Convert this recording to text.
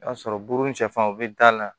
I b'a sɔrɔ buru ni sɛfan bɛ da la